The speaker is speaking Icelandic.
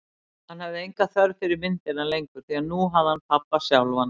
Hann hafði enga þörf fyrir myndina lengur, því nú hafði hann pabba sjálfan.